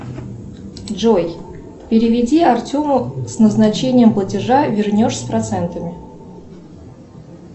джой переведи артему с назначением платежа вернешь с процентами